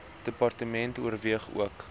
department oorweeg ook